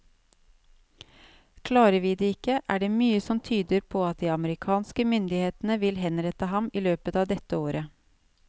Klarer vi det ikke, er det mye som tyder på at de amerikanske myndighetene vil henrette ham i løpet av dette året.